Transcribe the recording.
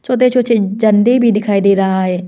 छोटे छोटे झंडे भी दिखाई दे रहा है।